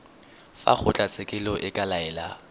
fa kgotlatshekelo e ka laela